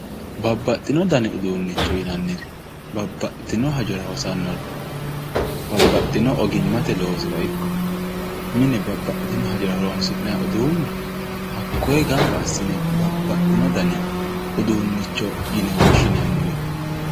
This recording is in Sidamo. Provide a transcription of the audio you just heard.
Babbaxino dani uduunnicho yinnniri, babbaxitino hajora hosannore babbaxino ogimmate loosira ikko mine babbaxitino hajora horonsi'nayi uduunne hakkoye gamba assine babbaxino dani uduunnicho yine woshshinanniwe.